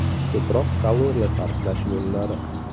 Ko‘proq kaloriya sarflash yo‘llari.